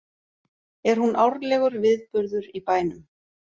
Er hún árlegur viðburður í bænum